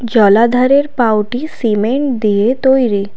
জলাধারের পাওটি সিমেন্ট দিয়ে তৈরি।